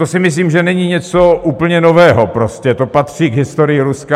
To si myslím, že není něco úplně nového, prostě to patří k historii Ruska.